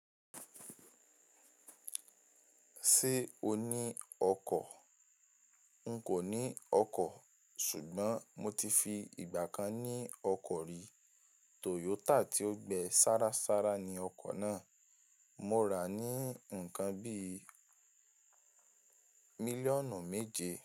Ṣé o ní ọkọ̀? N kò ní ọkọ̀ ṣùgbọ́n mo ti fi ìgbà kan ní ọkọ̀ rí. Toyota tí ó gbẹ sára sára ni ọkọ̀ náà. Mo rà á ní ǹkan bíi mílíọ̀nù méje.